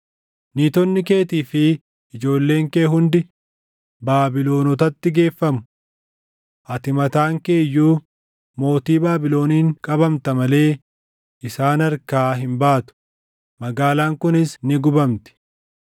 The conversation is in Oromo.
“Niitonni keetii fi ijoolleen kee hundi Baabilonotatti geeffamu. Ati mataan kee iyyuu mootii Baabiloniin qabamta malee isaan harkaa hin baatu; magaalaan kunis ni gubamti.”